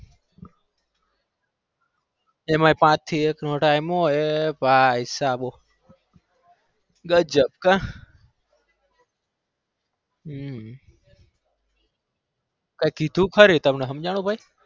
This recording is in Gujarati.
એમાં પાચ થી એક નો time હોય એ ભાઈસાહેબ ગજબ કા હમ કઈ કીધું ખરી તમને સમજાણું કઈ?